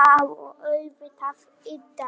Já og auðvitað yddari